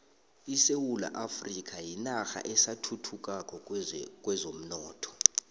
isewula afrika yinarha esathuthukako kwezomnotho